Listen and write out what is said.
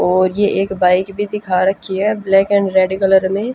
और ये एक बाइक भी दिखा रखी है। ब्लैक एंड रेड कलर में।